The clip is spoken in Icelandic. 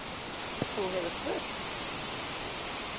Þú hefur spurt?